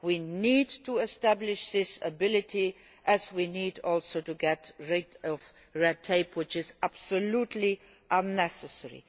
We need to establish this ability, just as we need also to get rid of red tape, which is absolutely unnecessary.